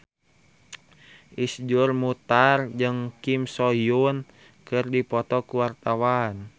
Iszur Muchtar jeung Kim So Hyun keur dipoto ku wartawan